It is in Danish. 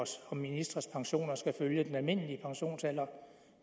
og ministre pensioner skal følge den almindelige pensionsalder